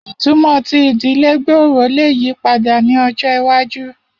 Itumọ ti idile gbooro le yipada ni ọjọ iwaju